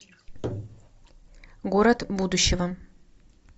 город будущего